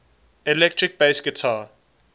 electric bass guitar